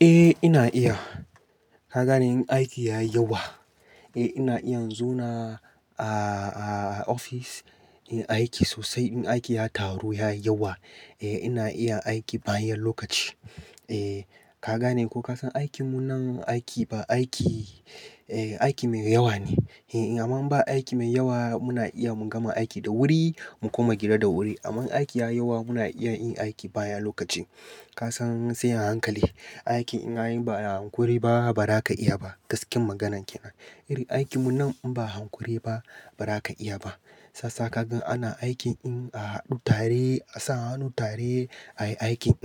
Eh ina iya. Ka gane in aiki ya yawa, eh ina iya zauna ofis, in aiki sosai in aiki ya taru ya yawa, eh ina iya aiki bayan lokaci. Eh kaga ne ko ka san aikin mu nan aiki ba aiki, eh aiki mai yawa ne. Eh amma ba aiki mai yawa muna iya mu gama aiki da wuri mu kuma gida da wuri. Amma aiki ya yawa muna iya yin aiki bayan lokaci. Ka san sai a hankali, aiki in ka anyi ba ai hankuri ba ba za ka iya ba. Gaskiyan maganan ke nan. Irin aikin mu nan in ba hankuri ba ba za ka iya ba. Sasa ka gan ana aikin in a haɗu tare a sa hannu tare ayi aikin.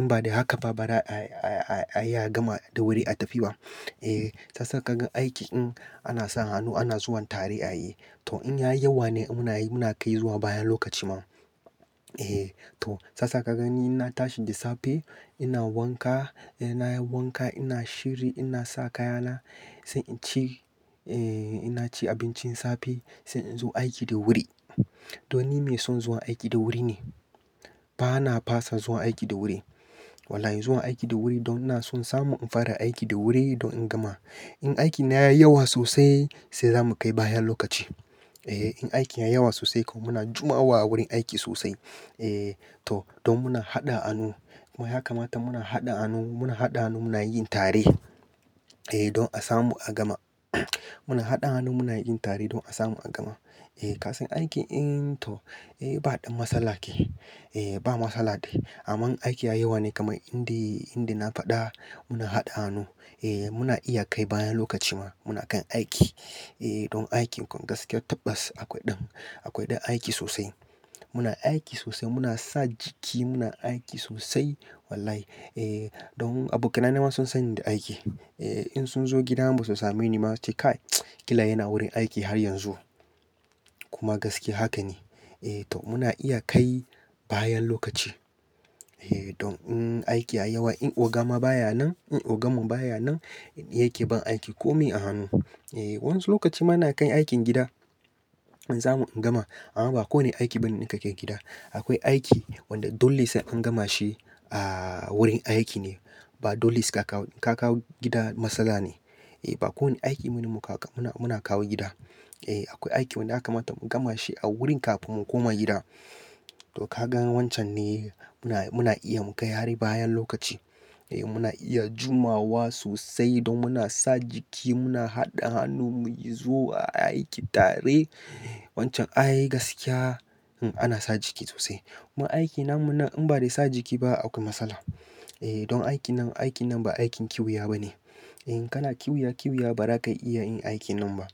In ba da haka ba ba za a iya gama da wuri a tafi ba. Eh sasa ka gan aiki in ana sa hannu ana zuwan tare ayi. To in ya yi yawa ne muna kai zuwa bayan lokaci ma. Eh to sasa ka gani ina tashi da safe ina wanka, ina yin wanka ina shiri ina saka yana sai in ci, eh ina ci abincin safe sai in zo aiki da wuri. To ni mai son zuwa aiki da wuri ne. Ba na fasa zuwa aiki da wuri. Wallahi zuwa aiki da wuri don na son samu in fara aiki da wuri don in gama. In aikin ya yi yawa sosai sai zamu kai bayan lokaci. Eh in aikin ya yawa sosai kuma muna jimawa a wurin aiki sosai. Eh to don muna haɗa hannu. Kuma yaka mata muna haɗa hannu muna haɗa hannu muna yin tare, eh don a samu a gama. Muna haɗa hannu muna yin tare don a samu a gama. Eh ka san aikin in to, eh ba ɗan matsala ke. Eh ba matsala. Amma aiki ya yawa ne kamar inda, inda na faɗa muna haɗa hannu. Eh muna iya kai bayan lokaci ma muna kan aiki. Eh don aiki ƙwan gaskiya tabbas akwai ɗan, akwai ɗan aiki sosai. Muna aiki sosai muna sa jiki muna aiki sosai wallahi. Eh don abokaina ma sun sani da aiki. Eh in sun zo gida ba su same ni ma su ce kai Kila yana wurin aiki har yanzu." Kuma gaskiya haka ne. Eh to muna iya kai bayan lokaci. Eh don in aiki ya yawa in oga ma baya nan, in oga mun baya nan yake bin aiki kome a hannu. Eh wa'ansu lokaci muna kan aikin gida in samu in gama. Amma ba kowane aiki bane ne ka ke gida. Akwai aiki wanda dole sai an gama shi a wurin aiki ne. Ba dole ka kawo gida matsala ne. Eh ba kowane aiki bane muna muna kawo gida. Eh akwai aiki wanda yakamata mu gama shi a wurin kafin mu koma gida. To ka gan wancan ne muna iya mu kai har bayan lokaci. Eh muna iya jumawa sosai don muna sa jiki muna haɗa hannu muyi zuwa aiki tare. Wancan ayi gaskiya, ana sa jiki sosai. Kuma aikin namu nan in ba da sa jiki ba akwai matsala. Eh don aikin nan aikin nan ba aikin kiwuya bane. In kana kiwuya kiwuya ba za ka iya yin aikin nan ba.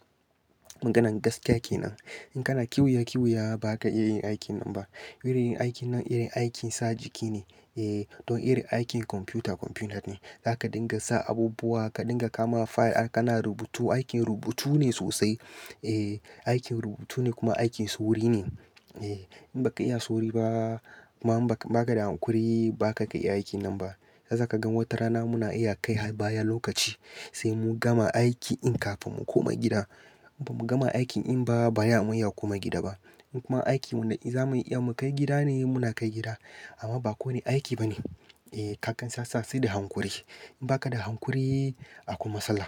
Maganan gaskiya ke nan. In kana kiwuya kiwuya ba za ka iya yin aikin nan ba. Irin aikin nan irin aikin sa jiki ne. Eh don irin aikin kwamfuta kwamfuta ne. Za ka dinga sa abubuwa ka dinga kama fayil kana rubutu. Aikin rubutu ne sosai. Eh aikin rubutu ne kuma aikin sauri ne. Eh in ba ka iya sauri ba kuma in ba ka da hankuri ba za ka iya aikin nan ba. Sasa ka gan wata rana muna iya kai har bayan lokaci sai mu gama aiki in kafin mu koma gida. In ba mu gama aikin in ba baya mu iya koma gida ba. In kuma aikin mu na in za muyi iya mu kai gida ne muna kai gida. Amma ba kowane aiki bane. Eh ka kan sasa sai da hankuri. In ba ka da hankuri akwai matsala.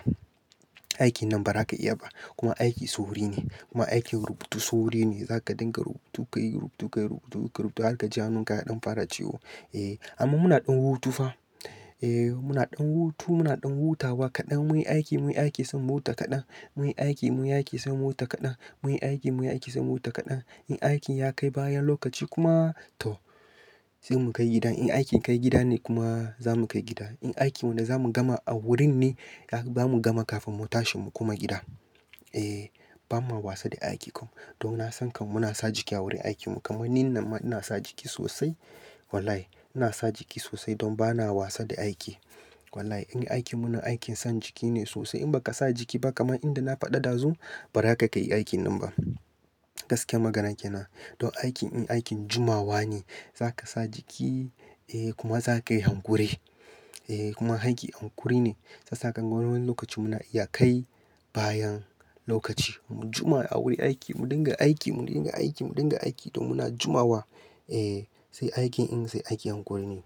Aikin nan ba za ka iya ba. Kuma aikin sauri ne. Kuma aikin rubutu sauri ne. Za ka dinga rubutu ka yi rubutu ka yi rubutu ka rubuta har ka ji hannun ka ɗan fara ciwo. Eh amma muna ɗan hutu fa. Eh muna ɗan hutu muna ɗan hutawa kaɗan muyi aiki muyi aiki sai mu huta kaɗan. Muyi aiki muyi aiki sai mu huta kaɗan. Muyi aiki muyi aiki sai mu huta kaɗan. In aikin ya kai bayan lokaci kuma to sai mu kai gida. In aikin kai gida ne kuma za mu kai gida. In aikin wanda za mu gama a wurin ne za mu gama kafin mu tashi mu koma gida. Eh ba ma wasa da aiki kuma. Don na san kam muna sa jiki a wurin aikin mu. Kaman ni namma ina sa jiki sosai. Wallahi ina sa jiki sosai don ba na wasa da aiki. Wallahi in aikin mu na aikin sa jiki ne sosai in ba ka sa jiki ba kamar inda na faɗa ɗazu ba ra ka yi aikin nan ba. Gaskiya maganan ke nan. Don aikin in aikin jumawa ne. Za ka sa jiki, eh kuma za ka yi hankuri. Eh kuma aiki hankuri ne. Sasa ka gan wani lokaci muna iya kai bayan lokaci. Mu juma a wurin aiki, mu dinga aiki mu dinga aiki mu dinga aiki don muna jumawa. Eh sai aikin in sai aiki hankuri ne.